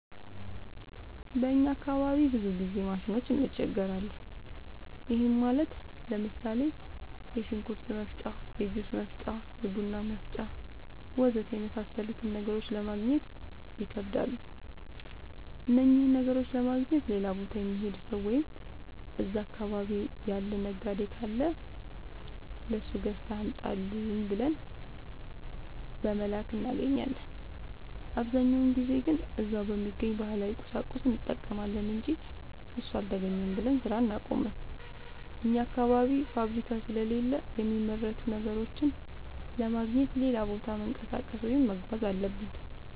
በእኛ አካባቢ ብዙ ጊዜ ማሽኖች እንቸገራለን። ይህም ማለት ለምሳሌ፦ የሽንኩርት መፍጫ፣ የጁስ መፍጫ፣ የቡና መፍጫ.... ወዘተ የመሣሠሉትን ነገሮች ለማገግኘት ይከብዳሉ። እነኝህን ነገሮች ለማግኘት ሌላ ቦታ የሚሄድ ሠው ወይም እዛ አካባቢ ያለ ነጋዴ ካለ ለሱ ገዝተህ አምጣልኝ ብለን በመላክ እናገኛለን። አብዛኛውን ጊዜ ግን እዛው በሚገኝ ባህላዊ ቁሳቁስ እንጠቀማለን አንጂ እሱ አልተገኘም ብለን ስራ አናቆምም። አኛ አካባቢ ፋብሪካ ስለሌለ የሚመረቱ ነገሮችን ለማግኘት ሌላ ቦታ መንቀሳቀስ ወይም መጓዝ አለብን።